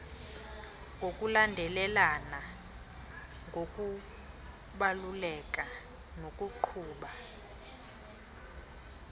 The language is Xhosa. ngokulandelelana ngokubaluleka nokuqhuba